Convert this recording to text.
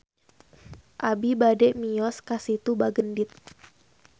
Abi bade mios ka Situ Bagendit